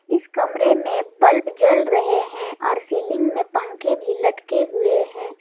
इस कमरे में बल्ब जल रहे हैं और सीलिंग में पंखे भी लटके हुए हैं।